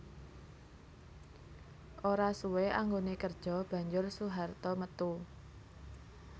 Ora suwé anggoné kerja banjur Soeharto metu